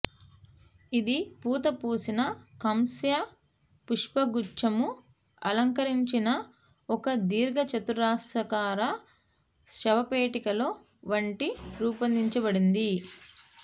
ఇది పూతపూసిన కాంస్య పుష్పగుచ్ఛము అలంకరించిన ఒక దీర్ఘచతురస్రాకార శవపేటికలో వంటి రూపొందించబడింది